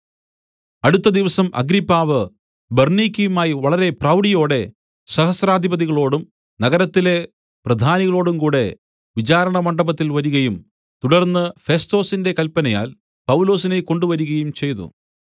അടുത്ത ദിവസം അഗ്രിപ്പാവ് ബെർന്നീക്കയുമായി വളരെ പ്രൗഡിയോടെ സഹസ്രാധിപതികളോടും നഗരത്തിലെ പ്രധാനികളോടും കൂടെ വിചാരണമണ്ഡപത്തിൽ വരികയും തുടർന്ന് ഫെസ്തൊസിന്റെ കല്പനയാൽ പൗലൊസിനെ കൊണ്ടുവരികയും ചെയ്തു